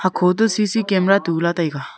khoto C C camera tula taiga.